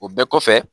O bɛɛ kɔfɛ